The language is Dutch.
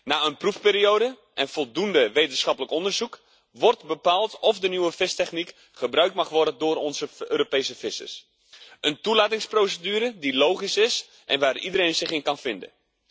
Na een proefperiode en voldoende wetenschappelijk onderzoek wordt bepaald of de nieuwe vistechniek gebruikt mag worden door onze Europese vissers een toelatingsprocedure die logisch is en waar iedereen zich in kan vinden.